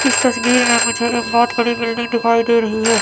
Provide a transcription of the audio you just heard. इस तस्वीर में मुझे एक बहोत बड़ी बिल्डिंग दिखाई दे रही है।